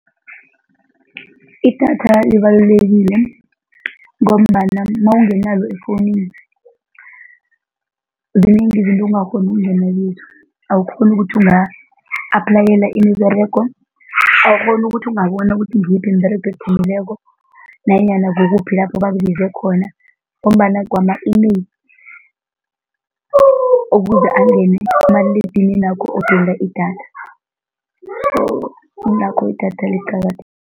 Idatha libalulekile ngombana nawunganalo efowunini, zinengi izinto ongakghoni ukungena kizo, awukghoni ukuthi unga-aplayela imiberego, awukghoni ukuthi ungabona ukuthi ngiyiphi imiberego ephumileko nanyana kukuphi lapho bakubize khona ngombana kwama-email ukuze angene kumaliledininakho udinga idatha, kungakho idatha